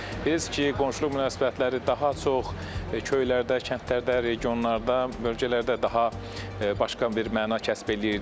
Bilirsiniz ki, qonşuluq münasibətləri daha çox köylərdə, kəndlərdə, regionlarda, bölgələrdə daha başqa bir məna kəsb eləyirdi.